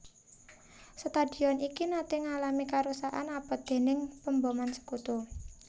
Stadion iki naté ngalami karusakan abot déning pemboman Sekutu